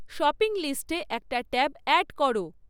shopping লিস্টে একটা tab add করো